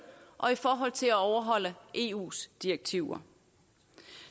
og i forhold til at overholde eus direktiver